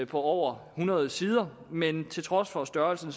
på over hundrede sider men til trods for størrelsen